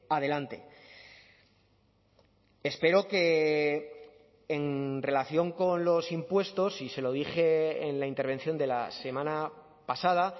adelante espero que en relación con los impuestos y se lo dije en la intervención de la semana pasada